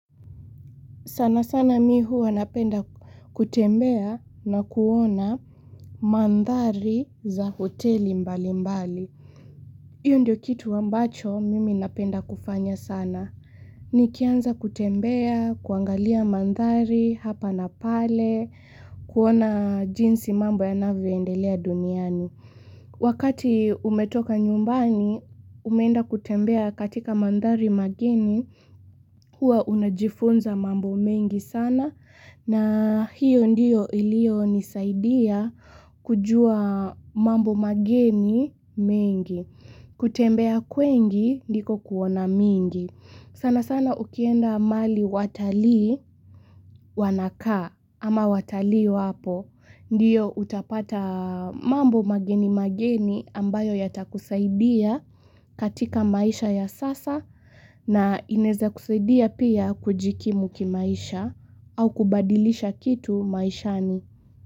Sanasana mi hua napenda kutembea na kuona mandhari za hoteli mbalimbali. Iyo ndio kitu ambacho mimi napenda kufanya sana. Nikianza kutembea, kuangalia mandhari hapa na pale, kuona jinsi mambo yanavyo endelea duniani. Wakati umetoka nyumbani, umenda kutembea katika mandhari mageni hua unajifunza mambo mengi sana. Na hiyo ndiyo iliyonisaidia kujua mambo mageni mengi. Kutembea kwengi ndiko kuona mingi. Sanasana ukienda mali watalii wanakaa ama watalii wapo. Ndiyo utapata mambo mageni mageni ambayo yatakusaidia katika maisha ya sasa. Na ineza kusaidia pia kujikimu kimaisha au kubadilisha kitu maishani.